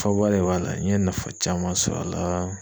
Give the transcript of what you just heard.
Faaba de b'a la, n ye nafa caman sɔrɔ a la